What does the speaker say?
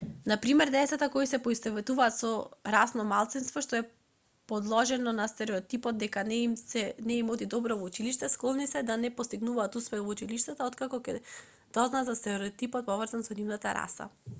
на пример децата кои се поистоветуваат со расно малцинство што е подложено на стереотипот дека не им оди добро во училиште склони се да не постигнуваат успех во училиштето откако ќе дознаат за стереотипот поврзан со нивната раса